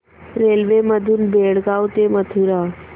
railway मधून बेळगाव ते मथुरा